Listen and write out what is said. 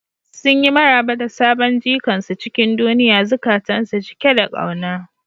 Sun yi maraba da sabon jikan su cikin duniya, zukatansu cike da kauna.